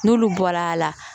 N'olu bɔra a la